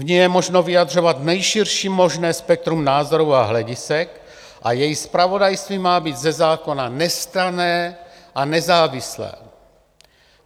V ní je možno vyjadřovat nejširší možné spektrum názorů a hledisek a její zpravodajství má být ze zákona nestranné a nezávislé."